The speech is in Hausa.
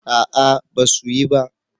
A'a ba su yi ba